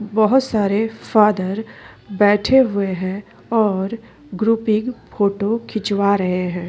बहुत सारे फादर बैठे हुए है और ग्रुपिंग फोटो खिंचवा रहै है।